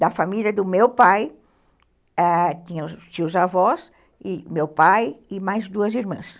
Da família do meu pai, ãh, tinha os tios avós, meu pai e mais duas irmãs.